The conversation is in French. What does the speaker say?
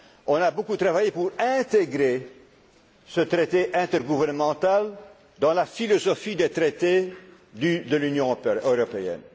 ce Parlement. On a beaucoup travaillé pour intégrer ce traité intergouvernemental dans la philosophie des traités de l'Union